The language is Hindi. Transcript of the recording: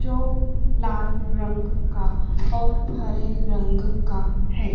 जो लाल रंग का और हरे रंग का है।